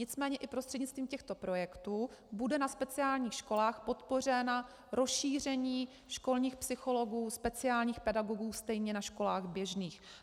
Nicméně i prostřednictvím těchto projektů bude na speciálních školách podpořeno rozšíření školních psychologů, speciálních pedagogů stejně na školách běžných.